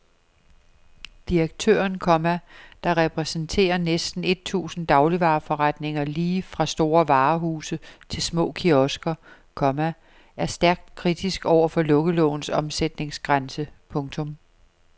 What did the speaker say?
Direktøren, komma der repræsenterer næsten et tusind dagligvareforretninger lige fra store varehuse til små kiosker, komma er stærkt kritisk over for lukkelovens omsætningsgrænse. punktum